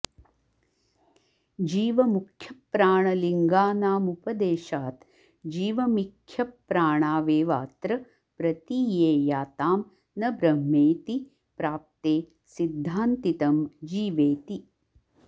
जीवमुख्यप्राणलिङ्गानामुपदेशात् जीवमिख्यप्राणावेवात्र प्रतीयेयातां न ब्रह्मेति प्राप्ते सिध्दान्तितम् जीवेति